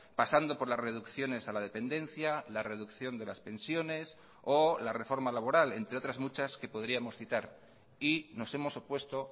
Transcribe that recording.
pasando por las reducciones a la dependencia la reducción de las pensiones o la reforma laboral entre otras muchas que podríamos citar y nos hemos opuesto